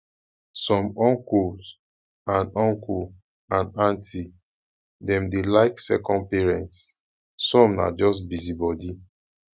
some uncle and uncle and aunty dem dey like second parents some na just busybody